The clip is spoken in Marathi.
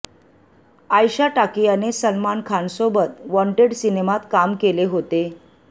आयशा टाकियाने सलमान खानसोबत वॉन्टेड सिनेमात काम केले होते